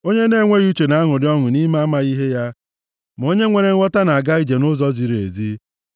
Onye na-enweghị uche na-aṅụrị ọṅụ nʼime amaghị ihe ya, ma onye nwere nghọta na-aga ije nʼụzọ ziri ezi.